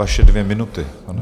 Vaše dvě minuty.